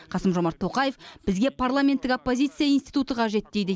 қасым жомарт тоқаев бізге парламенттік оппозиция институты қажет дейді